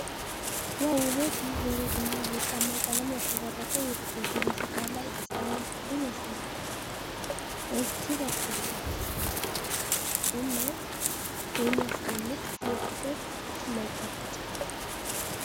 ዋው ውበት! ይህ በሮዝ እና በወርቃማ ቀለም ያሸበረቀ የልደት ዝግጅት ታላቅ ደስታንና ፍቅርን ያሳያል። እጅግ አስደሳች እና የሚያስደንቅ የፍቅር መግለጫ!